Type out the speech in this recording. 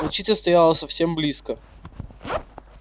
волчица стояла совсем близко